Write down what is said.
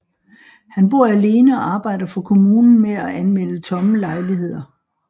Han bor alene og arbejder for kommunen med at anmelde tomme lejligheder